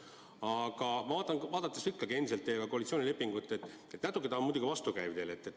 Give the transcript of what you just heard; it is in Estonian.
Aga ikkagi, kui vaadata teie koalitsioonilepingut, siis see tundub natuke vastukäiv olevat.